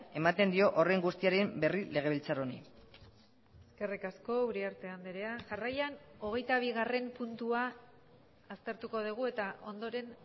ematen dio horren guztiaren berri legebiltzar honi eskerrik asko uriarte andrea jarraian hogeitabigarren puntua aztertuko dugu eta ondoren